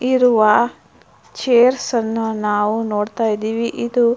ಇರುವ ಚೈರ್ಸ್ ಅನ್ನ ನಾವು ನೋಡ್ತಾಯಿದೀವಿ. ಇದು --